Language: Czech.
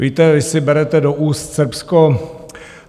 Víte, vy si berete do úst Srbsko.